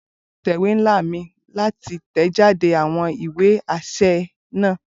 Bolu n lo itẹ̀wé nla mi lati tẹjáde awọn iwe aṣẹ naa.